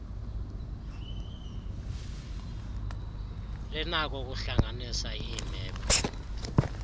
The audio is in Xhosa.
linakho ukuhlanganisa iimephu